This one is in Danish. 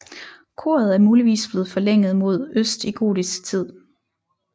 Koret er muligvis blevet forlænget mod øst i gotisk tid